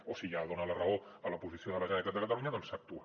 o si ja dona la raó a la posició de la generalitat de catalunya doncs s’actua